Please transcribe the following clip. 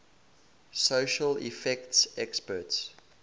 special effects experts